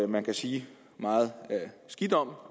man kan sige meget skidt om